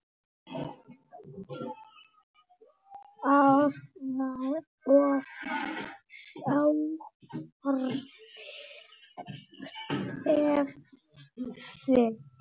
Það var of djarft teflt.